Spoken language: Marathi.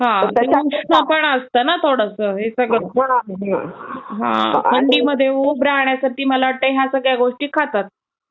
हा. उष्ण पण असतं ना थोडस हे सगळं थोडं. थंडीमध्ये उब राहण्यासाठी मला वाटतंय ह्या सगळ्या गोष्टी खातात.